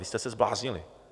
Vy jste se zbláznili.